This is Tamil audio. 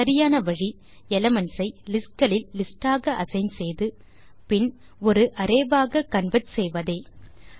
சரியான வழி எலிமென்ட்ஸ் ஐ லிஸ்ட் களில் listஆக அசைன் செய்து பின் ஒரு அரே ஆக கன்வெர்ட் செய்வதே